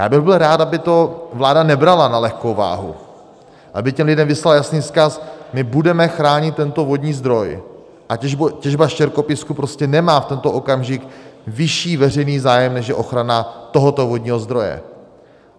Já bych byl rád, aby to vláda nebrala na lehkou váhu, aby těm lidem vyslala jasný vzkaz - my budeme chránit tento vodní zdroj a těžba štěrkopísku prostě nemá v tento okamžik vyšší veřejný zájem, než je ochrana tohoto vodního zdroje.